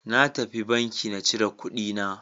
Na tafi banki na cire kuɗi na.